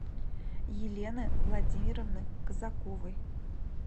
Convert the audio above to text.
елены владимировны казаковой